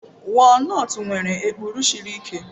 Walnutst nwere ekpuru siri ike.